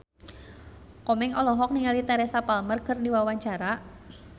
Komeng olohok ningali Teresa Palmer keur diwawancara